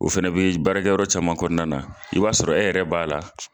O fɛnɛ b'i baarakɛyɔrɔ caman kɔnɔna na i b'a sɔrɔ e yɛrɛ b'a la.